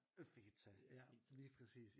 Øh feta ja lige præcis